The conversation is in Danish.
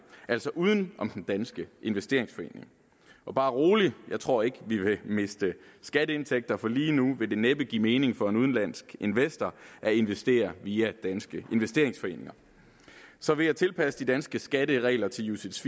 altså uden om den danske investeringsforening og bare rolig jeg tror ikke vi vil miste skatteindtægter for lige nu vil det næppe give mening for en udenlandsk investor at investere via danske investeringsforeninger så ved at tilpasse de danske skatteregler til ucits